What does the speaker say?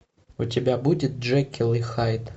у тебя будет джекил и хайд